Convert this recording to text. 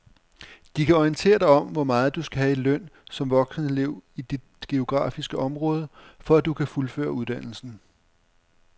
De kan orientere dig om hvor meget du skal have i løn som voksenelev i dit geografiske område, for at du kan fuldføre uddannelsen.